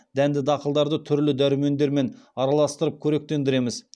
дәнді дақылдарды түрлі дәрумендермен араластырып қоректендіреміз